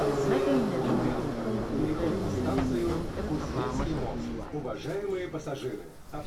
Nakan yabi mutum kan ƙoƙarin da yayi don ƙarfafa masa gwiwa.